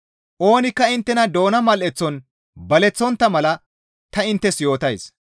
Oonikka inttena doona mal7eththon baleththontta mala ta inttes yootays.